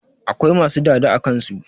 Akwai masu dada a kansu